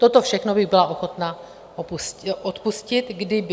Toto všechno bych byla ochotna odpustit - kdyby.